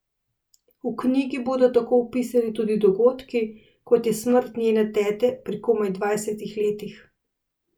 V knjigi bodo tako opisani tudi dogodki, kot je smrt njene tete pri komaj dvajsetih letih.